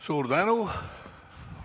Suur tänu!